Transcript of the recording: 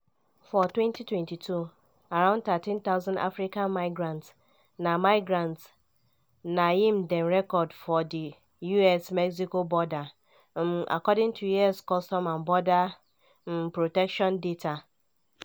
for 2022 around 13000 african migrants na migrants na im dem record for di us-mexico border um according to us customs and border um protection data.